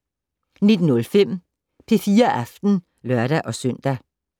19:05: P4 Aften (lør-søn)